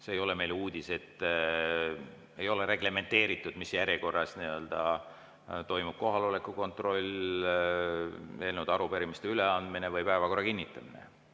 See ei ole meile uudis, et ei ole reglementeeritud see, mis järjekorras toimub kohaloleku kontroll, eelnõude ja arupärimiste üleandmine või päevakorra kinnitamine.